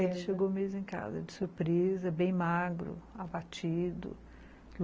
Ele chegou mesmo em casa, de surpresa, bem magro, abatido.